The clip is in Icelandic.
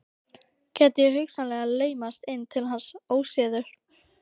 Gæti ég hugsanlega laumast inn til hans óséður?